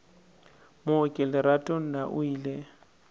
mooki lerato na o ile